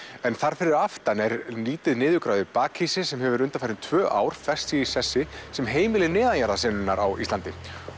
en þar fyrir aftan er lítið niðurgrafið sem hefur undanfarin tvö ár fest sig í sessi sem heimili á Íslandi